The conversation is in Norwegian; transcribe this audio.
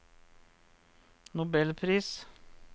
nobelpris